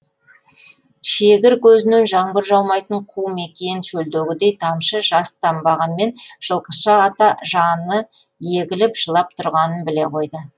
шегір көзінен жаңбыр жаумайтын қу мекиен шөлдегідей тамшы жас тамбағанмен жылқышы ата жаны егіліп жылап тұрғанын біле қойды